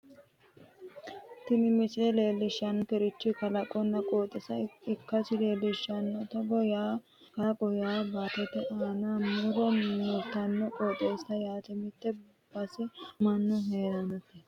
tini misile leellishshannorichi kalaqonna qooxeessa ikkasi leellishshanno togo yaano kalaqo yaa baattote aana mure fulannorichooti qooxeessa yaa mitte base mannu heerannota.